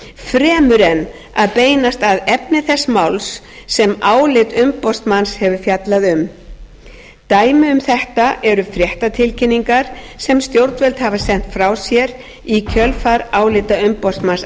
fremur en að beinast að efni þess máls sem álit umboðsmanns hefur fjallað um dæmi um þetta eru fréttatilkynningar sem stjórnvöld hafa sent frá sér í kjölfar álita umboðsmanns